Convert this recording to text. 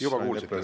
Juba kuulsite.